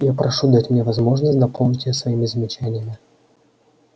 я прошу дать мне возможность дополнить её своими замечаниями